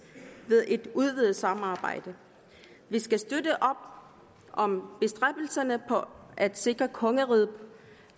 ved et udvidet samarbejde vi skal støtte op om bestræbelserne på at sikre at kongeriget